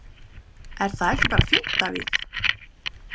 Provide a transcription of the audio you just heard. Er það ekki bara fínt Davíð?